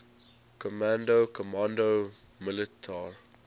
command comando militar